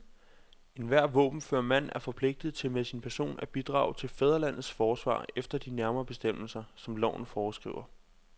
Enhver våbenfør mand er forpligtet til med sin person at bidrage til fædrelandets forsvar efter de nærmere bestemmelser, som loven foreskriver.